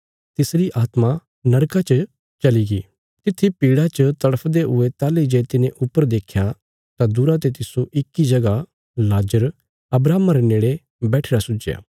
कने तिसरी आत्मा नरका च चलीगी तित्थी पीड़ा च तड़फदे हुये ताहली जे तिने ऊपर देख्या तां दूरा ते तिस्सो इक्की जगह लाजर अब्राहमा रे नेड़े बैठिरा सुझया